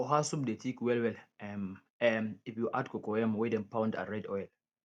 oha soup dey thick well well um um if you add cocoyam wey dem pound and red oil